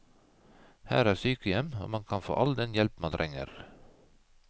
Her er sykehjem og man kan få all den hjelp man trenger.